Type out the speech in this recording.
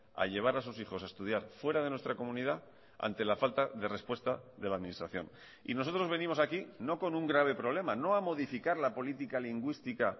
a llevar a sus hijos a estudiar fuera de nuestra comunidad ante la falta de respuesta de la administración y nosotros venimos aquí no con un grave problema no a modificar la política lingüística